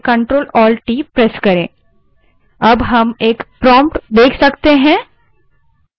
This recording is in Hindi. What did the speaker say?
या terminal window खोलने के लिए अपने keyboard पर ctrl alt t press करें